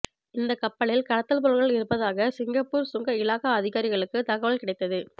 இந்த கப்பலில் கடத்தல் பொருட்கள் இருப்பதாக சிங்கப்பூர் சுங்க இலாகா அதிகாரிகளுக்கு தகவல் கிடைத்தது